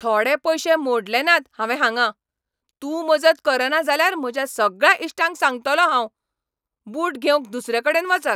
थोडे पयशे मोडले नात हावें हांगां. तूं मजत करना जाल्यार म्हज्या सगळ्या इश्टांक सांगतलों हांव, बूट घेवंक दुसरेकडेन वचात.